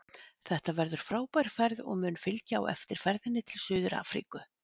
Þetta verður frábær ferð og mun fylgja á eftir ferðinni til Suður Afríku.